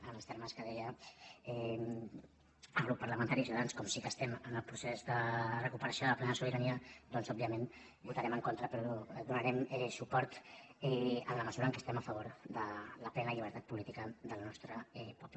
en els termes que deia el grup parlamentari de ciutadans com sí que estem en el procés de recuperació de la plena sobirania doncs òbviament hi votarem en contra però hi donarem suport en la mesura que estem a favor de la plena llibertat política del nostre poble